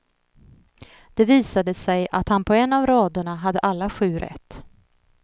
Det visade sig att han på en av raderna hade alla sju rätt.